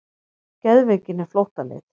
Geðveikin er flóttaleið.